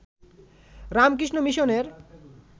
রামকৃষ্ণ মিশনের